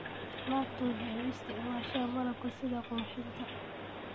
Naagtu waxay u isticmaashaa malabka sida qurxinta.